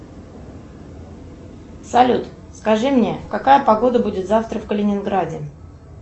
салют скажи мне какая погода будет завтра в калининграде